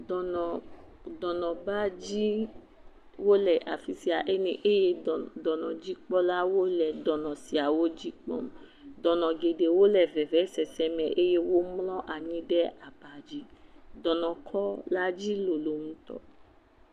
Dɔnɔbadziwo le afi sia eye dɔnɔdzikpɔlawo le dɔnɔ siawo dzi kpɔm, dɔnɔ geɖewo le vevesese me eye womlɔ anyi ɖe aba dzi, dɔnɔ kɔ la dzi lolo ŋutɔ.